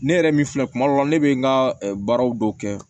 Ne yɛrɛ min filɛ kuma dɔ la ne bɛ n ka baaraw dɔw kɛ